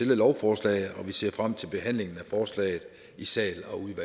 lovforslag vi ser frem til behandlingen af forslaget i sal